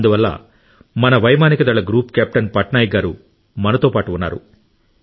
అందువల్ల మన వైమానిక దళ గ్రూప్ కెప్టెన్ పట్నాయక్ గారు మనతో పాటు ఉన్నారు